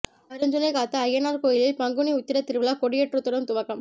அருஞ்சுனை காத்த அய்யனார் கோயிலில் பங்குனி உத்திர திருவிழா கொடியேற்றத்துடன் துவக்கம்